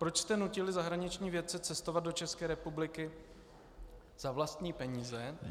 Proč jste nutili zahraniční vědce cestovat do České republiky za vlastní peníze?